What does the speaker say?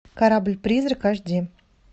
корабль призрак аш ди